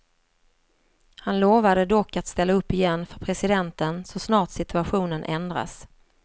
Han lovade dock att ställa upp igen för presidenten så snart situationen ändras.